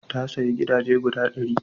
Ya sayi gidaje guda ɗari.